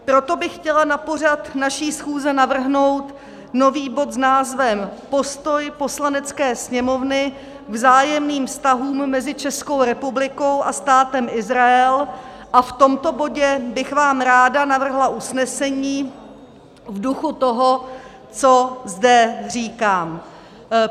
Proto bych chtěla na pořad naší schůze navrhnout nový bod s názvem Postoj Poslanecké sněmovny k vzájemným vztahům mezi Českou republikou a Státem Izrael a v tomto bodě bych vám ráda navrhla usnesení v duchu toho, co zde říkám.